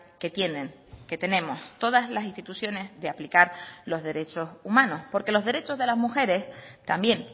que tienen que tenemos todas las instituciones de aplicar los derechos humanos porque los derechos de las mujeres también